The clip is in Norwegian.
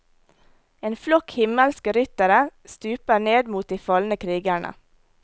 En flokk himmelske ryttere stuper ned mot de falne krigerne.